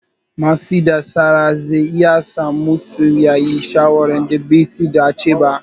Matsi na tsara zai iya sa mutum ya yi shawarar da ba ta dace ba.